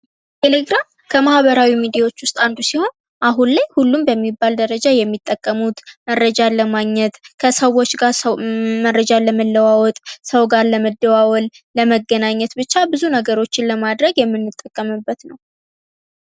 ልታከማህበራዊ ሚዲያዎች ውስጥ አንዱ ሲሆን አሁን ላይ ሁሉም በሚባል ደረጃ የሚጠቀሙት መረጃ አለማግኘት ከሰዎች ጋር ሰው መረጃ ለመለዋወጥ ሰው ጋር ለመደዋወል ለመገናኘት ብቻ ብዙ ነገሮችን ለማድረግ የምንጠቀምበት ነው።